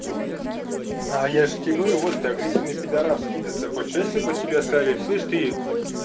я же тебе говорю вот ты агрессивный пидорас кидаться хочешь а если бы тебе сказали слышишь ты